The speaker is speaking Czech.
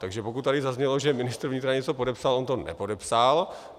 Takže pokud tady zaznělo, že ministr vnitra něco podepsal, on to nepodepsal.